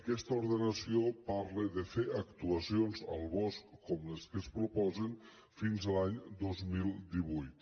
aquesta ordenació parla de fer actuacions al bosc com les que es proposen fins a l’any dos mil divuit